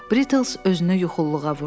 Brittles özünü yuxululuğa vurdu.